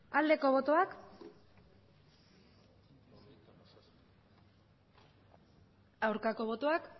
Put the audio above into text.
aldeko botoak aurkako botoak